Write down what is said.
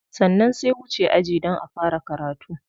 Sannan sai wuce aji don a fara karatu.